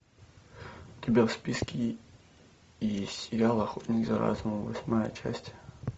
у тебя в списке есть сериал охотник за разумом восьмая часть